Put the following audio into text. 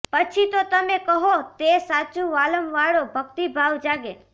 પછી તો તમે કહો તે સાચું વાલમ વાળો ભક્તિભાવ જાગે